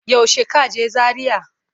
Yaushe ka je Zaria?